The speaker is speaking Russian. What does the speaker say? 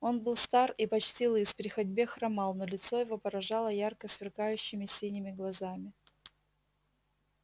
он был стар и почти лыс при ходьбе хромал но лицо его поражало ярко сверкающими синими глазами